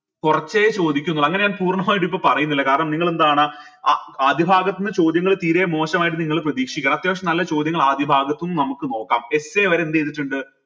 കുറച്ചെ ചോദിക്കുന്നുള്ളു അങ്ങനെ ഞാൻ പൂര്ണമായിട്ട് ഇപ്പൊ പറീന്നില്ല കാരണം നിങ്ങൾ എന്താണ് ആ ആദ്യ ഭാഗത്ത് നിന്ന് ചോദ്യങ്ങൾ തീരെ മോശമായിട്ട് നിങ്ങൾ പ്രതീക്ഷിക്കണ അത്യാവിശ്യം നല്ല ചോദ്യങ്ങൾ ആദ്യ ഭാഗത്തുന്ന് നമുക്ക് നോക്കാം essay വരെ എന്ത് ചെയ്തിട്ടിണ്ട്